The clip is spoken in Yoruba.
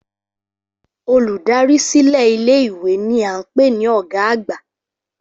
Olùdarí silẹ ilé ìwé ni a n pé ni ọ̀gá àgbà